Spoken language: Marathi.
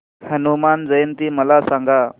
हनुमान जयंती मला सांगा